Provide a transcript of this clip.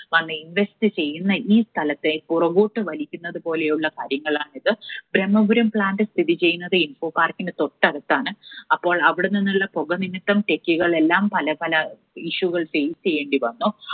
വന്ന് invest ചെയ്യുന്ന ഈ സ്ഥലത്തെ പുറകോട്ട് വലിക്കുന്നത് പോലെയുള്ള കാര്യങ്ങളാണിത്. ബ്രഹ്മപുരം plant സ്ഥിതി ചെയ്യുന്നത് ഇൻഫോ പാർക്കിനു തൊട്ടടുത്താണ്. അപ്പോൾ അവിടെ നിന്നുള്ള പുക നിമിത്തം techie കളെല്ലാം പലപല issue കൾ face ചെയ്യേണ്ടി വന്നു.